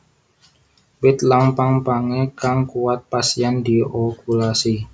Wit lan pang pangé kang kuwat pas yèn diokulasi